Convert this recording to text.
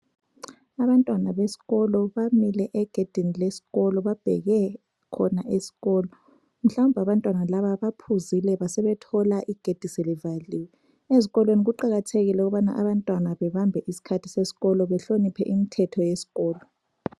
Abantwana besikolo bamile egedini lesikolo babheke khona esikolo. Mhlawumbe abantwana laba baphuzile basebethola igedi selivaliwe. Ezikolweni kuqakathekile ukubana abantwana bebambe isikhathi sesikolo behloniphe imithetho yesikolo.